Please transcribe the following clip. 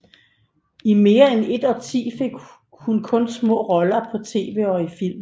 I mere end et årti fik hun kun små roller på tv og i film